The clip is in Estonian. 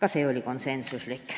Aitäh!